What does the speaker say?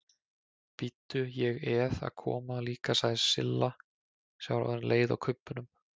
Bíddu, ég eð að koma líka sagði Silla sem var orðin leið á kubbunum.